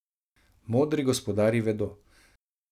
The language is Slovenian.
Modri gospodarji vedo.